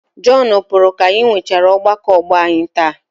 Jọnu pụrụ ka anyị nwechaara ọgbakọ ọgbọ anyị taa.